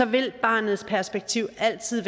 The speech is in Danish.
vil barnets perspektiv altid